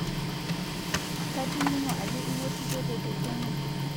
Kating'o ajo iwutitoto tekenya